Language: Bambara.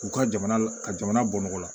K'u ka jamana la ka jamana bɔngɔ la